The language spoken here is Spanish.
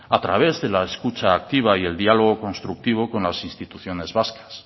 a través de la escucha activa y el diálogo constructivo con las instituciones vascas